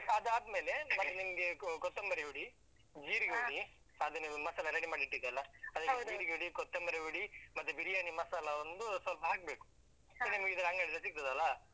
ಅದಾದ್ಮೇಲೆ ಮತ್ತೆ ನಿಮ್ಗೆ ಅಹ್ ಕೊತ್ತಂಬರಿ ಹುಡಿ. ಅದನ್ನೆಲ್ಲಾ ಮಸಾಲ ready ಮಾಡಿ ಇಟ್ಟಿದ್ದೆ ಅಲಾ. ಜೀರಿಗೆ ಹುಡಿ, ಕೊತ್ತಂಬರಿ ಹುಡಿ ಮತ್ತೆ ಬಿರಿಯಾನಿ ಮಸಾಲಾ ಒಂದು ಸ್ವಲ್ಪ ಹಾಕ್ಬೇಕು. ಅಂಗಡಿಯಲ್ಲಿ ಸಿಗ್ತದೆ ಅಲಾ?